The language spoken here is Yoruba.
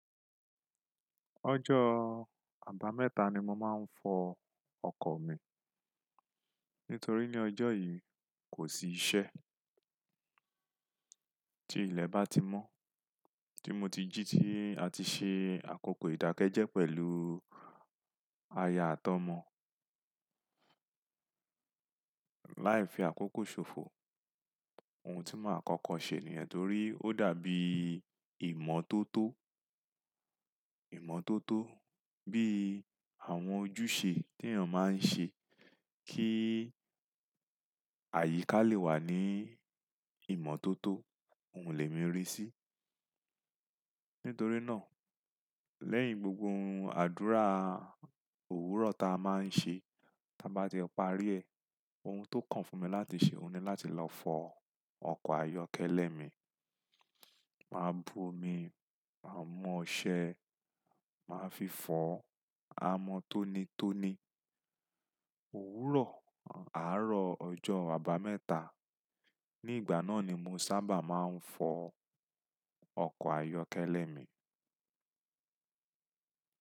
Ọjọ́ àbámẹ́ta ni mo máa ń fọ ọkọ̀ mi. Nítorí ní ọjọ́ yìí kò sí iṣẹ́. Tí ilẹ̀ bá ti mọ́, tí mo ti jí ti àti ṣe àkókò ìdákẹ́jẹ́ pẹ̀lú aya at'ọmọ. Láì fi àkókò ṣòfò ohun tí màá kókó ṣe nìyẹn torí ó dàbí ìmọ́tótó, ìmọ́tótó bí àwọn ojúṣe tí èèyàn máa ń ṣe kí àyíká lè wà ní ìmọ́tótó, òun lè mìírì sí. Nítorí náà lẹ́yìn gbogbo àdúrà òwúrọ̀ ta a máa ń ṣe, tí a bá ti parí ẹ̀, ohun tó kàn fún mi láti ṣe òun ni láti lọ fọ ọkọ̀ ayọ́kẹ́lẹ́ mi. Màá bu omi, màá mú ọṣẹ, màá fi fọ, a mọ tónítóní. Òwúrọ̀ àárọ̀ ọjọ́ àbámẹ́ta, ní ìgbà náà ni mo sábà máa ń fọ ọkọ̀ ayọ́kẹ́lẹ́ mi.